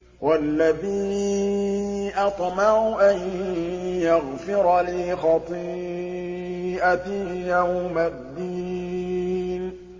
وَالَّذِي أَطْمَعُ أَن يَغْفِرَ لِي خَطِيئَتِي يَوْمَ الدِّينِ